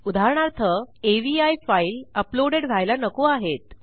उदाहरणार्थ अवी file uploaded व्हायला नको आहेत